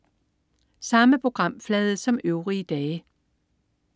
Samme programflade som øvrige dage